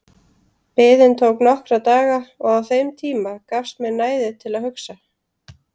Biðin tók nokkra daga og á þeim tíma gafst mér næði til að hugsa.